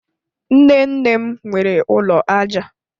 Nnenne m nwere ụlọ aja